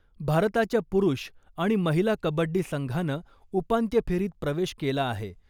भारताच्या पुरुष आणि महिला कबड्डी संघानं उपांत्य फेरीत प्रवेश केला आहे.